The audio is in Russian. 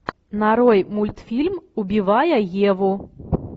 нарой мультфильм убивая еву